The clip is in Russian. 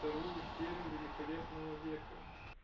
вторую серия великолепного века